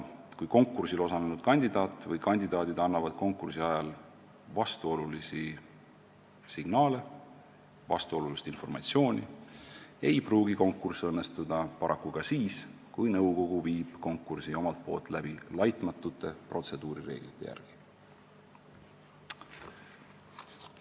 Kui konkursil osalenud kandidaadid annavad konkursi ajal vastuolulisi signaale, vastuolulist informatsiooni, ei pruugi konkurss õnnestuda paraku ka siis, kui nõukogu viib konkursi omalt poolt läbi laitmatute protseduurireeglite järgi.